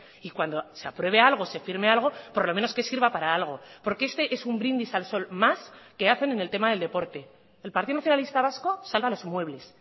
y cuando se apruebe algo se firme algo por lo menos que sirva para algo porque este es un brindis al sol más que hacen en el tema del deporte el partido nacionalista vasco salva los muebles